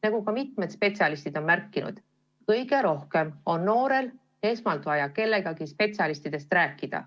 Nagu ka mitmed spetsialistid on märkinud, kõige rohkem on noorel esmalt vaja mõne spetsialistiga rääkida.